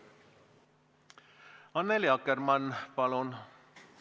Annely Akkermann, palun!